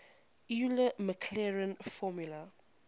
euler maclaurin formula